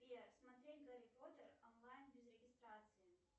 сбер смотреть гарри поттер онлайн без регистрации